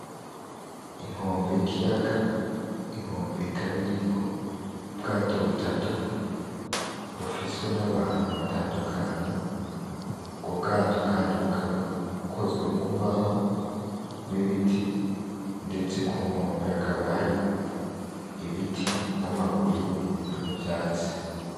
Inkombe y’ikiyaga. inkombe ikaba iriko ubwato butatu bufiswe n’abantu batandukanye, ubwo bwato kandi bukaba bukozwe mu mbaho n’ibiti ndetse ku nkombe hakaba hari ibiti ,n’amabuye n’ivyatsi